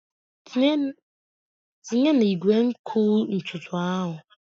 Tinye na igwe nkụ ntutu ahụ!